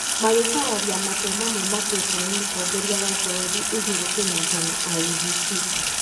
magĩkararia matua mamwe matuĩtwo nĩ mũtongoria wa bũrũri Uhuru Kenyatta na IEBC.